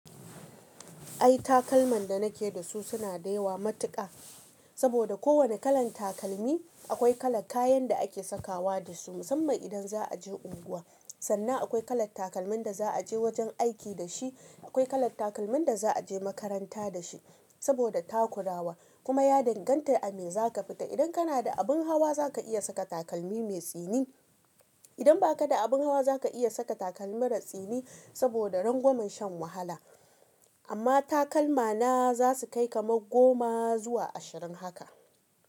Ai takalman da na ke da su suna da yawa matuƙa, saboda kowane kalan takalmi akwai kala kayan da ake sakawa da su musamman idan za a je unguwa. Sannan akwai kala takalmin da za a je wajen aiki da shi, akwai kala takalmin da za a je makaranta da shi saboda takurawa kuma ya danganta a me za ka fita. Idan kana da abin hawa za ka iya saka takalmi mai tsini, idan ba ka da abin hawa za ka iya saka takalmi maratsini saboda rangwamen shan wahala. Amma takalma na za su kai kaman goma zuwa ashirin haka.